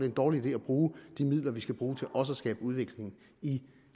en dårlig idé at bruge de midler vi ellers skal bruge til også at skabe udvikling i